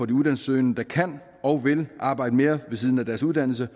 de uddannelsessøgende der kan og vil arbejde mere ved siden af deres uddannelse